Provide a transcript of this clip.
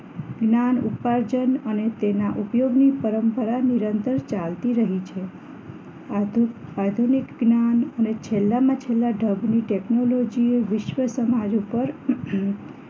જ્ઞાન ઉપાર્જન અને તેના ઉપયોગની પરંપરા નિરંતર ચાલતી રહી છે આધુ આધુનિક જ્ઞાન અને છેલ્લામાં છેલ્લા ઢબની ટેકનોલોજી વિશ્વસમાજ ઉપર